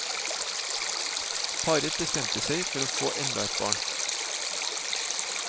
Paret bestemte seg for å få enda et barn.